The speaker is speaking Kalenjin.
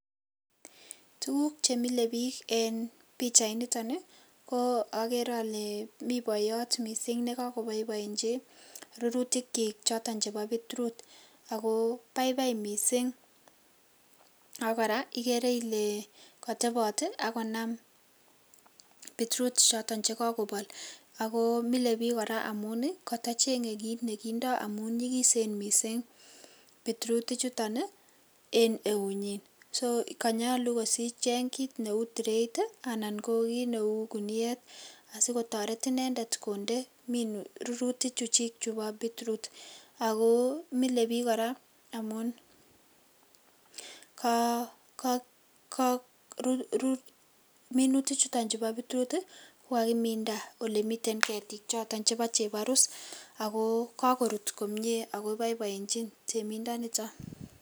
Tuguk che mile biik eng pichait nito ni ko agere ale mi boiyot mising ne kakoboiboenchi rurutikyik choton chebo pitrut. Ago baibai mising ago kora igere ile kotobot ii ak konam pitrut choton kakobol ago mile biik kora amun, kotochenge kit negindo amun nyigisen mising pitrut ichuton en eunyin. Sokanyalu kocheng kit neu tirait anan ko kit neu guniet asigotoret inendet konde rurutichuchik chubo pitrut. Ago mile biik kora amun, minutik chuton bo pitrut ko kakiminda olemiten ketiik choto chebo chebarus ago kagorut komie ago boiboenchin temindo nito.